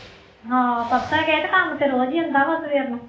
ਹਾਂ ਪਰਸੋਂ ਹੀ ਗਏ ਤੇ ਕੰਮ ਤੇ ਰੋਜ਼ ਹੀ ਹੁੰਦਾ ਵਾ ਸਵੇਰੇ ਨੂੰ